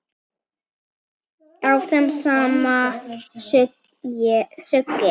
Áfram sama sukkið?